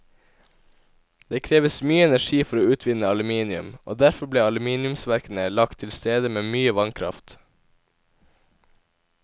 Det kreves mye energi for å utvinne aluminium, og derfor ble aluminiumsverkene lagt til steder med mye vannkraft.